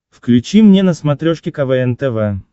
включи мне на смотрешке квн тв